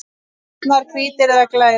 Oftast nær hvítir eða glærir.